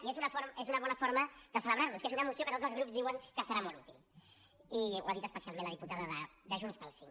i és una bona forma de celebrar los que és una moció que tots els grups diuen que serà molt útil i ho ha dit especialment la diputada de junts pel sí